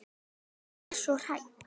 En ég var svo hrædd.